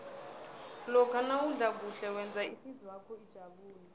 lokha nawudla kuhle wenza ihlizwakho ijabule